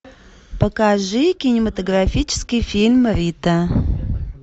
покажи кинематографический фильм рита